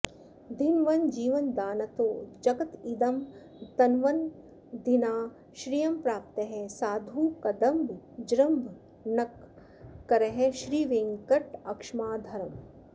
धिन्वन् जीवनदानतो जगदिदं तन्वन्नदीनां श्रियं प्राप्तः साधुकदम्बजृम्भणकरः श्रीवेङ्कटक्ष्माधरम्